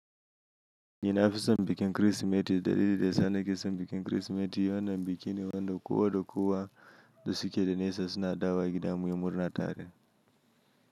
Eh na fison bikin krisimeti dalili da yasa na ke son bikin krisimeti wannan bikine wanda kowa da kuwa da suke da nesa suna dawo gida muyi murna tare.